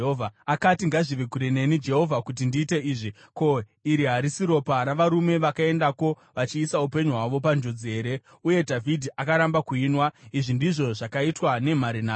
Akati, “Ngazvive kure neni, Jehovha, kuti ndiite izvi! Ko, iri harisi ropa ravarume vakaendako vachiisa upenyu hwavo panjodzi here?” Uye Dhavhidhi akaramba kuinwa. Izvi ndizvo zvakaitwa nemhare nhatu.